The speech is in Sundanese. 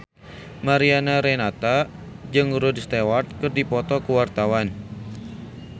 Mariana Renata jeung Rod Stewart keur dipoto ku wartawan